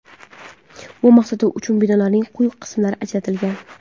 Bu maqsad uchun binolarning quyi qismlari ajratilgan.